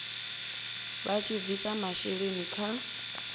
vha tshi bvisa masheleni kha